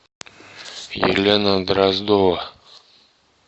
елена дроздова